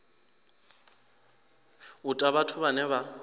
u ta vhathu vhane vha